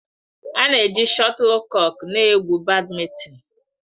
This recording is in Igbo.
A na-eji shọtulkọk na-egwu Bádmintịn.